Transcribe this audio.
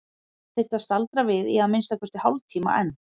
Hann þyrfti að staldra við í að minnsta kosti hálftíma enn.